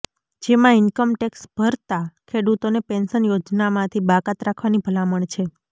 જેમાં ઇન્કમટેક્સ ભરતા ખેડૂતોને પેન્શન યોજનામાંથી બાકાત રાખવાની ભલામણ છે